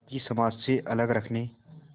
बाक़ी समाज से अलग रखने